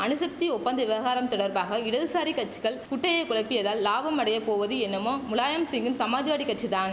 அணுசக்தி ஒப்பந்த விவகாரம் தொடர்பாக இடதுசாரி கச்சிகள் குட்டையை குழப்பியதால் லாபம் அடையப் போவது என்னமோ முலாயம்சிங்கின் சமாஜ்வாடி கட்சி தான்